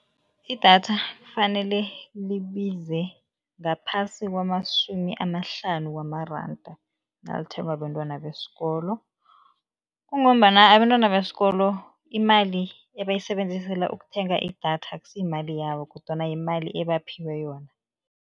Idatha kufanele libize ngaphasi kwamasumi amahlanu wamaranda nalithengwa bentwana besikolo. Kungombana abentwana besikolo imali ebayisebenzisela ukuthenga idatha akusiyimali yabo kodwana yimali ebaphiwe yona.